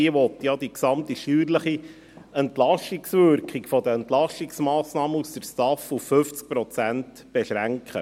Dieser will die gesamte steuerliche Entlastungswirkung der Entlastungsmassnahmen aus der STAF auf 50 Prozent beschränken.